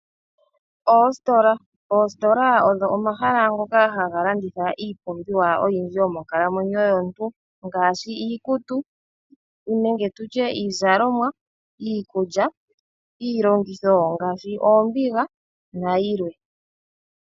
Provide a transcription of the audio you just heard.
Oositola odho omahala ngoka haga landitha iipumbiwa oyindji yomonkalamwenyo yomuntu ngaashi iikutu nenge tu tye iizalomwa, iikulya , iilongitho ngaashi oombiga na yilwe.